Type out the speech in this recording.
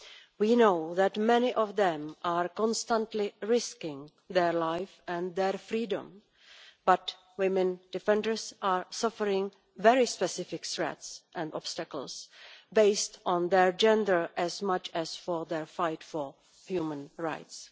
We know that many of them are constantly risking their life and their freedom, but women defenders are suffering very specific threats and obstacles on account of their gender as much as their fight for human rights.